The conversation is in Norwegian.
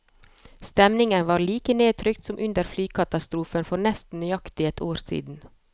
Stemningen var like nedtrykt som under flykatastrofen for nesten nøyaktig ett år siden.